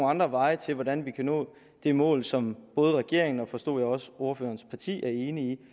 andre veje til hvordan vi kan nå det mål som både regeringen og forstod jeg også ordførerens parti er enige